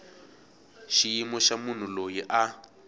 xiyimo xa munhu loyi a